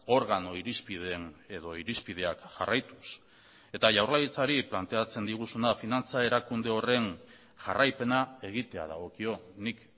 organo irizpideen edo irizpideak jarraituz eta jaurlaritzari planteatzen diguzuna finantza erakunde horren jarraipena egitea dagokio nik